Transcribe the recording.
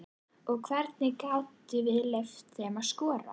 Og hvernig gátum við leyft þeim að skora?